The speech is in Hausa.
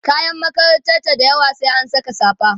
kayan makaranta dayawa sai an Saka safa